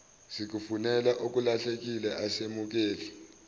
sikufunele okulahlekile asemukeli